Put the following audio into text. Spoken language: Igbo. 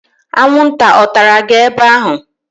Anwụnta ọ tara gị ebe ahụ?